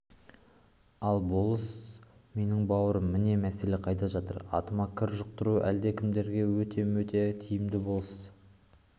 ал ол болыс менің бауырым міне мәселе қайда жатыр атыма кір жұқтыру әлдекімдерге өте-мөте тиімді болысты